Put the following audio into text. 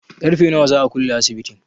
Ƙarfe nawa za a kulle asibitin?